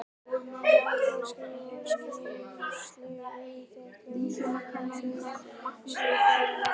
Ég ætla að skrifa skýrslu um þetta á meðan þú sækir lögregluna.